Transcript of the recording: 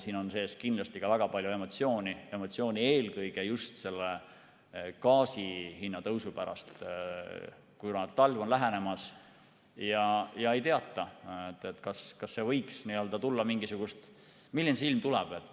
Siin on sees kindlasti ka väga palju emotsiooni, eelkõige just gaasi hinna tõusu pärast, kuna talv on lähenemas ja ei teata, milline ilm tuleb.